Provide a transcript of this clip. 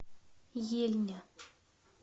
ельня